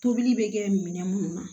Tobili bɛ kɛ minɛn munnu na